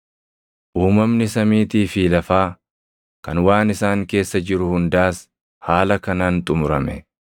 Uumamni samiitii fi lafaa, kan waan isaan keessa jiru hundaas haala kanaan xumurame.